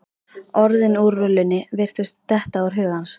Orðin úr rullunni virtust detta úr huga hans.